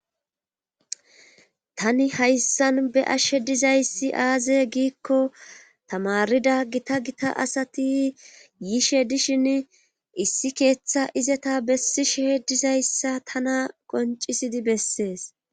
tani hayssan be'ashshe dizayssi aaze giikko tamarida gita gita asati yiishe dishin issi keeththa izeta bessishe dizayssa tana qoncisidi bessees